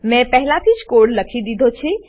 મેં પહેલાથી જ કોડ લખી દીધો છે